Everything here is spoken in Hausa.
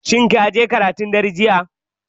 Shin kaje karatun dare jiya?